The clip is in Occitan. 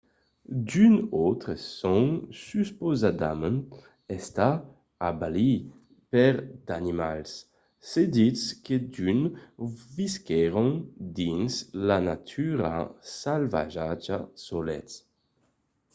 d'unes autres son supausadament estats abalits per d'animals; se ditz que d'unes visquèron dins la natura salvatja solets